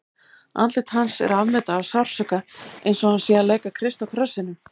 Andlit hans er afmyndað af sársauka, eins og hann sé að leika Krist á krossinum.